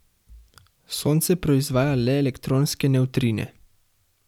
Sonce proizvaja le elektronske nevtrine.